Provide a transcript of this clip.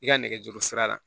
I ka nɛgɛjuru sira la